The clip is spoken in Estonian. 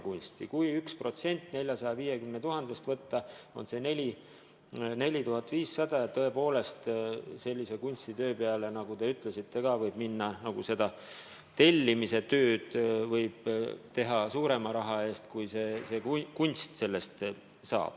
Kui võtta 1% 450 000-st, siis on see 4500 eurot ja tõepoolest mõne kunstitöö peale, nagu te ütlesite, võib minna rohkem raha, kui kunstnik selle eest sel moel saaks.